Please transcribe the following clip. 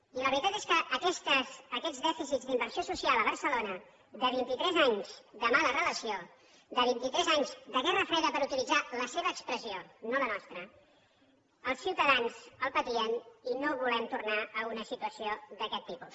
i la veritat és que aquests dèficits d’inversió social a barcelona de vint i tres anys de mala relació de vint i tres anys de guerra freda per utilitzar la seva expressió no la nostra els ciutadans els patien i no volem tornar a una situació d’aquest tipus